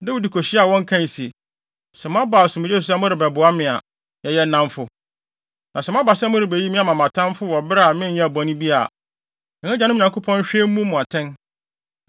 Dawid kohyiaa wɔn kae se, “Sɛ moaba asomdwoe so sɛ morebɛboa me a, yɛyɛ nnamfo. Na sɛ moaba sɛ morebeyi me ama mʼatamfo wɔ bere a menyɛɛ bɔne bi a, yɛn agyanom Nyankopɔn nhwɛ mmu mo atɛn.”